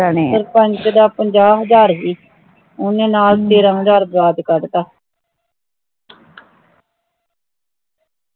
ਸਰਪੰਚ ਦਾ ਪੰਜਾ ਹਜਾਰ ਭੀ ਓਹਨੇ ਨਾਲ ਤੇਰ੍ਹ ਹਜਾਰ ਵਿਆਜ ਕੜਤਾ